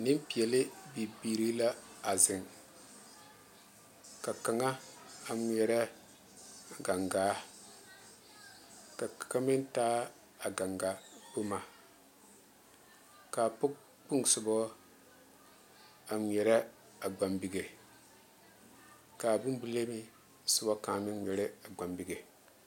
Nempeɛle bibiiri la a zeŋ ka kaŋa ŋmeɛrɛ a gaŋgaa ka kaŋa mine taa a gaŋgaa boma kaa boŋkpoŋ soba a ŋmeɛrɛ a gbampige kaa bonbilee soba kaŋa mine ŋmeɛrɛ a gbampige